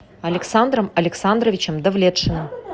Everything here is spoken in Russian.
александром александровичем давлетшиным